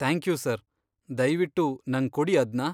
Thank you sir, ದಯ್ವಿಟ್ಟು ನಂಗ್ ಕೊಡಿ ಅದ್ನ.